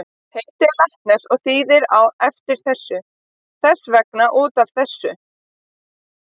Heitið er latneskt og þýðir á eftir þessu, þess vegna út af þessu.